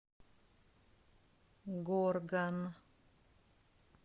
горган